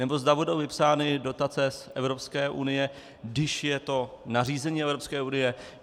Nebo zda budou vypsány dotace z Evropské unie, když je to nařízení Evropské unie?